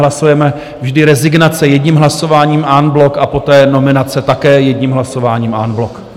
Hlasujeme vždy rezignace jedním hlasováním en bloc a poté nominace také jedním hlasováním en bloc.